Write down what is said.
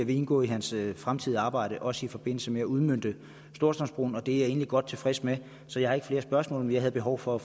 vil indgå i hans fremtidige arbejde også i forbindelse med at udmønte storstrømsbroen og det er jeg egentlig godt tilfreds med så jeg har ikke flere spørgsmål men jeg havde behov for at